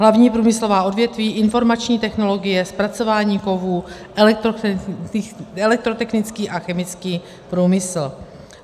Hlavní průmyslová odvětví - informační technologie, zpracování kovů, elektrotechnický a chemický průmysl.